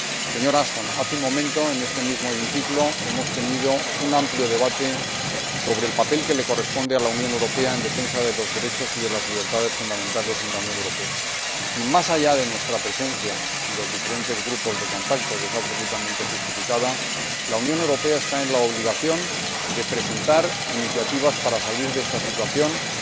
Señora Ashton, hace un momento, en este mismo hemiciclo, hemos mantenido un amplio debate sobre el papel que le corresponde a la Unión Europea en defensa de los derechos y de las libertades fundamentales en la Unión Europea, y más allá de nuestra presencia en los diferentes grupos de contacto —absolutamente justificada—, la Unión Europea tiene la obligación de presentar iniciativas para salir de esta situación y